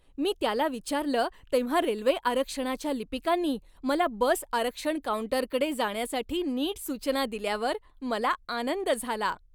मी त्याला विचारलं तेव्हा रेल्वे आरक्षणाच्या लिपिकांनी मला बस आरक्षण काऊंटरकडे जाण्यासाठी नीट सूचना दिल्यावर मला आनंद झाला.